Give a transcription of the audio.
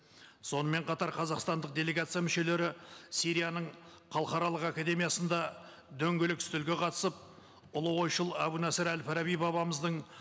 сонымен қатар қазақстандық делегация мүшелері сирияның халықаралық академиясында дөңгелек үстелге қатысып ұлы ойшыл әбу насыр әл фараби бабамыздың